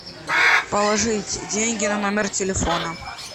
положить деньги на номер телефона